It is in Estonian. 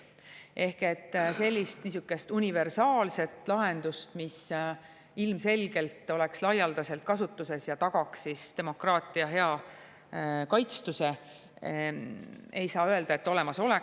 Ei saa öelda, et sellist universaalset lahendust, mis ilmselgelt oleks laialdaselt kasutuses ja tagaks demokraatia hea kaitstuse, olemas on.